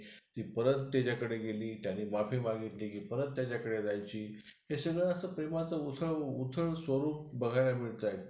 हम्म